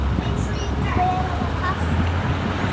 Hver á að passa okkur?